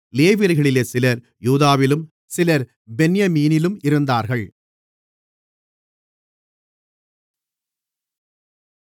லேவியர்களிலே சிலர் யூதாவிலும் சிலர் பென்யமீனிலும் இருந்தார்கள்